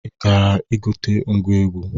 Ị gara igote ngwa egwu?